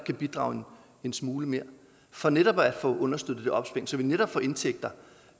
at bidrage en smule mere for netop at få understøttet det opsving så vi kan få indtægter